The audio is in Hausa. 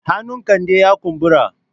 Hannun Kande ya kumbura.